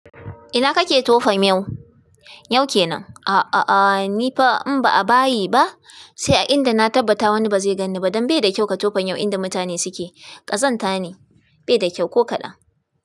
Ina kake tofa miyau? Yau kenan. A a a nifa in ba a bayi ba, sai a inda na tabbata wani ba zai gan ni ba. Don bai da kyau ka tofa miyau inda mutane suke. Ƙazanta ne, bai da kyau ko kaɗan.